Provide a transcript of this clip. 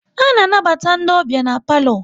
A na anabata ndị ọbịa n'palo